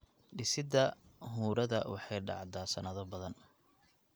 Dhisidda huurada waxay dhacdaa sannado badan.